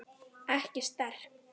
Ekki sterk.